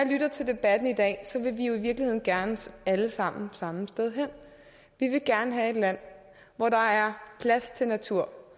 lytter til debatten i dag vil vi jo i virkeligheden gerne alle sammen samme sted hen vi vil gerne have et land hvor der er plads til natur